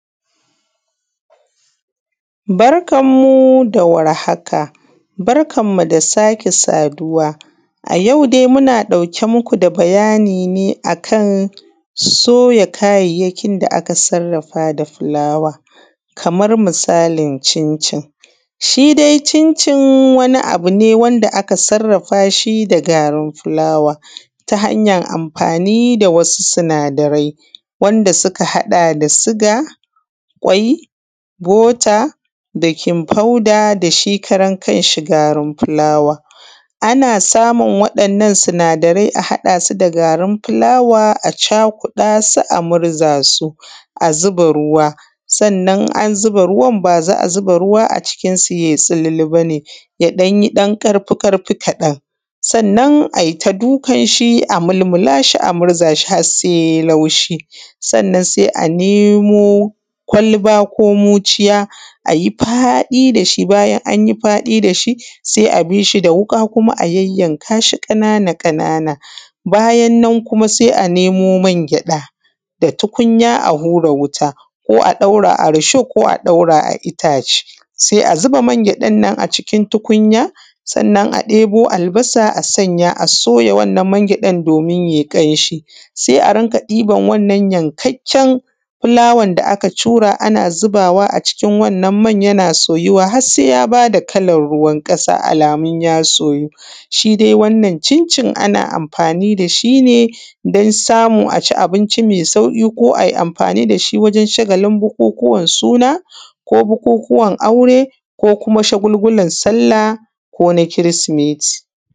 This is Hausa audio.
Barkan mu da warhaka. Barkan mu da sake saduwa a yau dai muna ɗauke muku da bayani ne akan soya kayayyakin da aka sarrafa da fulawa. Kamar misalin cin cin shi dai cin cin wani abune wanda aka sarrafashi da garin fulawa ta hanyan amfani da wasu sinadarai wanda suka haɗa da suga, kwai, bota, bekin foda dashi karan kanshi garin fulawa. Ana samun waɗannan sinada rai a haɗasu da garin fulawa a cakuɗasu a murza su a zuba ruwa, sannan in an zuba ruwaan ba za’a zuba ruwa a cikin su yai tsululu bane ya ɗan yi dan ƙarfi ƙarfi kaɗan sannan ai ta dukan shi a mulmula shi a murza shi har sai yi laushi. Sannan sai a nemo kwalba ko muciya a yi faɗi dashi bayan han yi faɗi dashi sai a bishi da wuka kuma a yayyan kashi ƙanana ƙanana bayan nan kuma sai a nemo mangyaɗa da tukunya a hura wuta ko a ɗaura a risho ko a ɗaura a ittace sai a zuba mangyaɗannan a cikin tukunya sannan a ɗebo albasa a sanya a soya wannan mangyɗan domin yai ƙamshi. Sai a rinƙa ɗiban wannan yankakken fulawan da aka cura ana zubawa a cikin wannan man yana soyuwa har sai yabada kalan ruwan ƙasa alamun ya soyu shi dai wannan cin cin ana amfani da shine dan samu aci abinci mai sauƙi ko ai amfani dashi wajen shagalin bukukuwan suna, ko bukukuwan aure ko kuma shagulgulan sallah ko na kirsimeti.